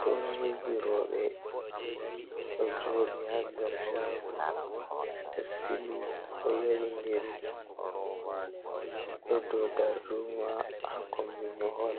Turmiji roɓɓe ɗo joɗi ha nder shago ɗo sili ɗo yowi ndiri, ɗo dou darduma ha kombi mahol,